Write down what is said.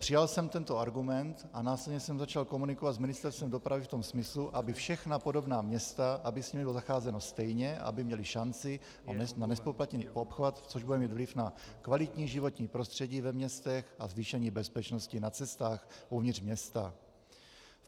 Přijal jsem tento argument, a následně jsem začal komunikovat s Ministerstvem dopravy v tom smyslu, aby všechna podobná města, aby s nimi bylo zacházeno stejně, aby měla šanci na nezpoplatněný obchvat, což bude mít vliv na kvalitní životní prostředí ve městech a zvýšení bezpečnosti na cestách uvnitř města.